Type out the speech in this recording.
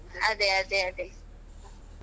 ಅದೇ ಅದೇ ಅದೇ.